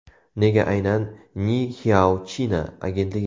Nega aynan Ni Hao China agentligi?